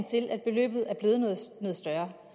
til at beløbet er blevet noget større